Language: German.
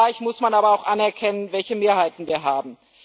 Zugleich muss man aber auch anerkennen, welche Mehrheiten wir haben.